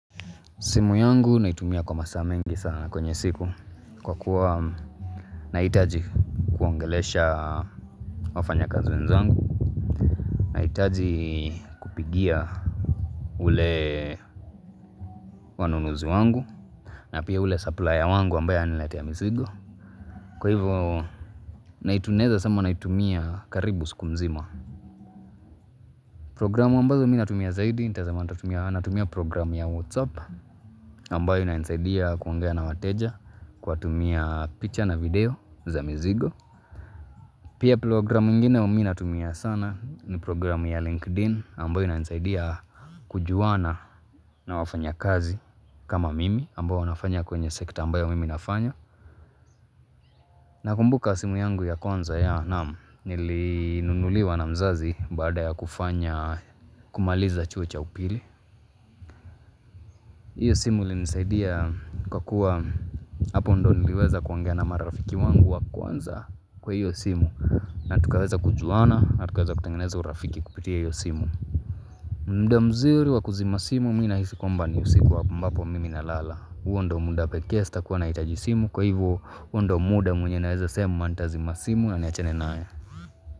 Simu yangu naitumia kwa masaa mengi sana kwenye siku kwa kuwa nahitaji kuongelesha wafanyakazi wenzangu Nahitaji kupigia ule wanunuzi wangu na pia ule saplaya wangu ambaye ananiletea mizigo Kwa hivyo na tunaweza sema naitumia karibu siku mzima Programu ambazo mimi natumia zaidi nitasema natumia programu ya Whatsapp ambayo inanisaidia kuongea na wateja kuwatumia picha na video za mizigo. Pia programu ingine mimi natumia sana ni programu ya LinkedIn ambayo inanisaidia kujuana na wafanyakazi kama mimi ambao wanafanya kwenye sekta ambayo mimi nafanya. Nakumbuka simu yangu ya kwnza ya namu nilinunuliwa na mzazi baada ya kufanya kumaliza chuo cha upili. Hiyo simu ilinisaidia kwa kuwa hapo ndii niliweza kuongea na marafiki wangu wa kwanza kwa hiyo simu Natukaweza kujuana na tukaweza kutengeneza urafiki kupitia hiyo simu mda mzuri wa kuzima simu mimi nahisi kwamba ni usiku ambapo mimi na lala huo ndio muda pekee sitakuwa nahitaji simu kwa hivyo huo ndio muda mwenye naweza sema nitazima simu na niachane nayo.